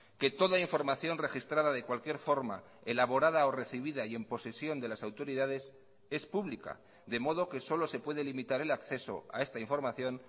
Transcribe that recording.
que toda información registrada de cualquier forma elaborada o recibida y en posesión de las autoridades es pública de modo que solo se puede limitar el acceso a esta información